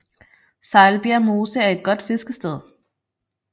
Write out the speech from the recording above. Sejlbjerg Mose er et godt fiskested